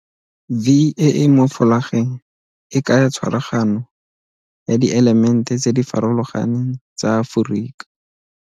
V e e mo folageng e kaya tshwaragano ya dielemente tse di farologaneng tsa Aforika.